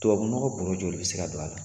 Tubabunɔgɔ bɔrɔ joli bi se ka don a la?